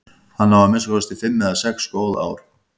Hann á að minnsta kosti fimm eða sex góð ár.